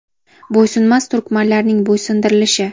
Bo‘ysunmas turkmanlarning bo‘ysundirilishi.